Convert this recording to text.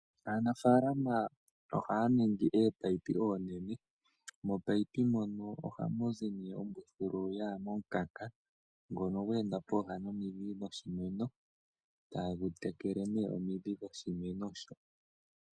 Aanafaalama ohaya ningi ominino ominene, momunino mono ohamu zi nee ombuthulu yaya momukanka ngono gwe enda pooha nomidhi dhoshimeno, tagu tekele nee omidhi dhoshimeno sho.